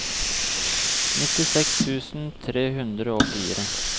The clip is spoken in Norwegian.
nittiseks tusen tre hundre og fire